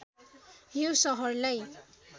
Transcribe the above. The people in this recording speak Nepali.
यो सहरलाई